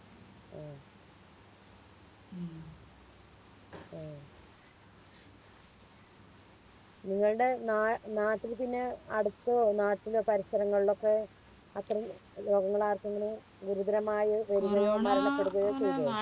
നിങ്ങളുടെ ന നാട്ടില് പിന്നെ അടുത്തോ നാട്ടിലെ പരിസരങ്ങളിലൊക്കെ അത്രേം രോഗങ്ങളാർക്കെങ്കിലും ഗുരുതരമായി വരുകയോ മരണപ്പെടുകയോ ചെയ്തോ